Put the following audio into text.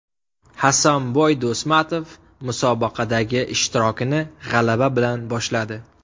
Hasanboy Do‘stmatov musobaqadagi ishtirokini g‘alaba bilan boshladi.